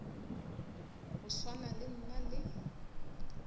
go swana le nna le